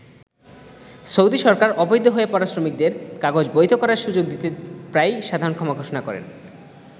Saudi সরকার অবৈধ হয়ে পড়া শ্রমিকদের কাগজ বৈধ করার সুযোগ করে দিতে প্রায়ই সাধারণ ক্ষমা ঘোষণা করেন।